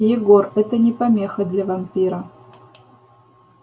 егор это не помеха для вампира